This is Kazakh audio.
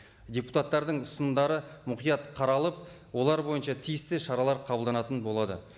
депутаттардың ұсынымдары мұқият қаралып олар бойынша тиісті шаралар қабылданатын болады